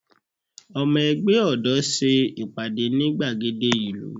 Ọmọ ẹgbẹ́ ọ̀dọ́ ṣe ìpàdé ní gbàgede ìlú